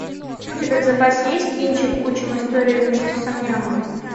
у тебя в запасе есть кинчик учим историю вместе с ам нямом